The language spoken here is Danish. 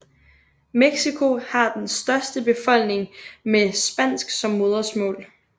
Mexico har den største befolkning med spansk som modersmål